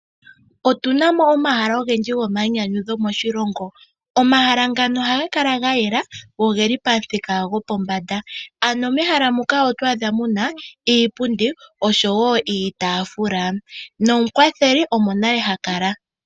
Otunamo omahala ogendji gomayinyanyudho moshilongo, omahala ngano ohaga kala gayela go ogeli pamuthika gopombanda. Mehala muka oto adha muna iipundi niitafula nomukwatheli omo nale ha kala.